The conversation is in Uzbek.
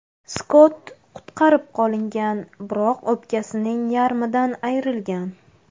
Skott qutqarib qolingan, biroq o‘pkasining yarmidan ayrilgan.